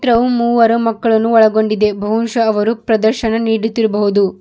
ಅವು ಮೂವರು ಮಕ್ಕಳನ್ನು ಒಳಗೊಂಡಿದೆ ಬಹುಶಃ ಅವರು ಪ್ರದರ್ಶನ ನೀಡುತ್ತಿರಬಹುದು.